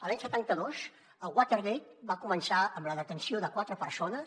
l’any setanta dos el watergate va començar amb la detenció de quatre persones